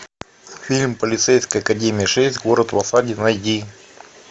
фильм полицейская академия шесть город в осаде найди